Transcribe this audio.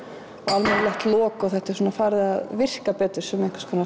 almennilegt lok og þetta er svona farið að virka betur sem einhvers konar